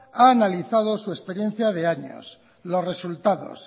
ha analizado su experiencia de años los resultados